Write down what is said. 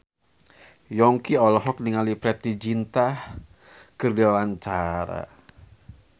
Yongki olohok ningali Preity Zinta keur diwawancara